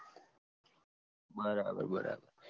બરાબર બરાબર